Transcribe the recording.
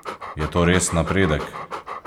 Je to res napredek?